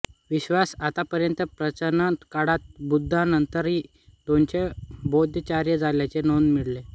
विश्वात आतापर्यंत प्राचीण काळात बुद्धांनंतर दोनच बौद्धाचार्य झाल्याचे नोंद मिळते